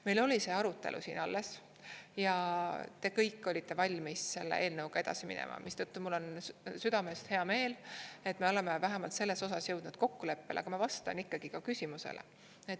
" Meil oli see arutelu siin alles ja te kõik olite valmis selle eelnõuga edasi minema, mistõttu mul on südamest hea meel, et me oleme vähemalt selles osas jõudnud kokkuleppele, aga ma vastan ikkagi ka küsimusele.